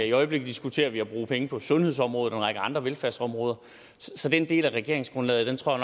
i øjeblikket diskuterer vi at bruge penge på sundhedsområdet og en række andre velfærdsområder så den del af regeringsgrundlaget tror